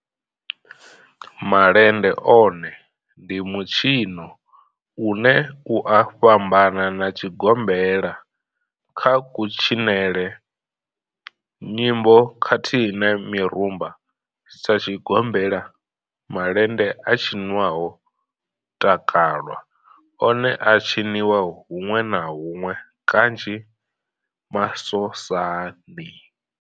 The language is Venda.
Malende one ndi mitshino une u a fhambana na tshigombela kha kutshinele, nyimbo khathihi na mirumba. Sa tshigombela, malende a tshinwa ho takalwa, one a a tshiniwa hunwe na hunwe kanzhi masosani.